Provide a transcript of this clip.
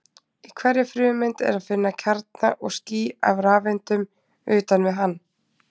Í hverri frumeind er að finna kjarna og ský af rafeindum utan við hann.